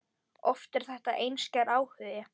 Oft er þetta einskær áhugi.